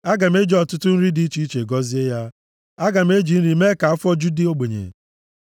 Aga m eji ọtụtụ nri dị iche iche gọzie ya; aga m eji nri mee ka afọ ju ndị ogbenye ya.